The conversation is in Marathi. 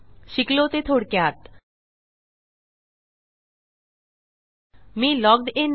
शिकलो ते थोडक्यात मी लॉग्ड इन नाही